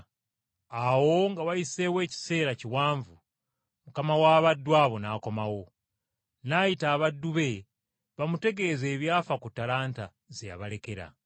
“Awo nga wayiseewo ekiseera kiwanvu, mukama w’abaddu abo n’akomawo. N’ayita abaddu be bamutegeeze ebyafa ku ttalanta ze yabalekera.